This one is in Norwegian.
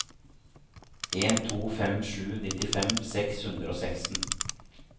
en to fem sju nittifem seks hundre og seksten